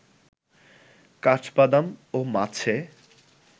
কাঠবাদাম ও মাছে